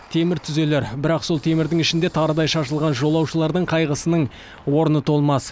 темір түзелер бірақ сол темірдің ішінде тарыдай шашылған жолаушылардың қайғысының орны толмас